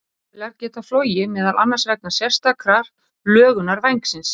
Flugvélar geta flogið meðal annars vegna sérstakrar lögunar vængsins.